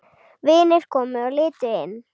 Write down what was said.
Vinir komu og litu inn.